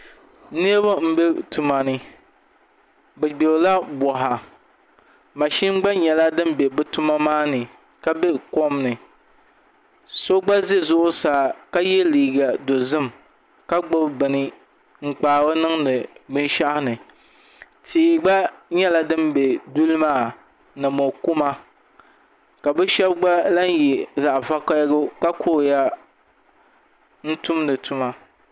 Niraba n bɛ tuma ni bi gbirila boɣa mashin gba nyɛla din bɛ bi tuma maa ni ka bɛ kom ni so gba bɛ zuɣusaa ka yɛ liiga dozim ka gbubi bini n kpaari niŋdi binshaɣu ni tia gba nyɛla din bɛ duli maa ni mo kuma ka bi shab gba lahi yɛ zaɣ vakaɣali ka kuriya n tumdi tuma